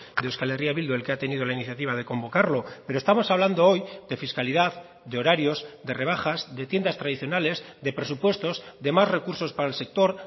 de euskal herria bildu el que ha tenido la iniciativa de convocarlo pero estamos hablando hoy de fiscalidad de horarios de rebajas de tiendas tradicionales de presupuestos de más recursos para el sector